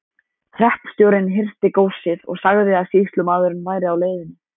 Hreppstjórinn hirti góssið og sagði að sýslumaðurinn væri á leiðinni.